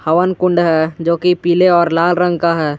हवन कुण्ड है जो की पीले और लाल रंग का है।